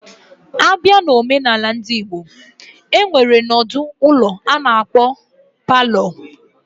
Abia na Ọmenala ndị Igbo, enwere nọdụ ụlọ ana-akpo parlour.